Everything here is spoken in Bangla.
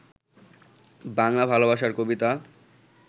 বাংলা ভালোবাসার কবিতা